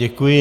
Děkuji.